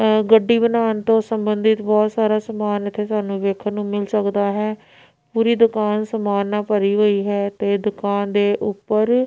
ਇਹ ਗੱਡੀ ਬਣਾਉਣ ਤੋਂ ਸੰਬੰਧਿਤ ਬਹੁਤ ਸਾਰਾ ਸਮਾਨ ਇੱਥੇ ਸਾਨੂੰ ਵੇਖਣ ਨੂੰ ਮਿਲ ਸਕਦਾ ਹੈ ਪੂਰੀ ਦੁਕਾਨ ਸਮਾਨ ਨਾਲ ਭਰੀ ਹੋਈ ਹੈ ਤੇ ਦੁਕਾਨ ਦੇ ਉੱਪਰ --